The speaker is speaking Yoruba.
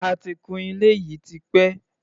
A ti kun ilé yìí tipẹ́.